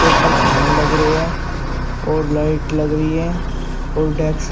ऊपर फैन लग रहे हैं और लाइट लग रही है और डेस्क --